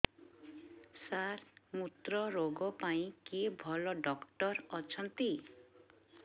ସାର ମୁତ୍ରରୋଗ ପାଇଁ କିଏ ଭଲ ଡକ୍ଟର ଅଛନ୍ତି